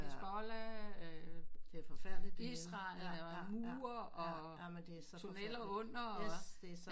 Hizbollah øh Israel der laver murer og tunneler under hvad